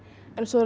en svo er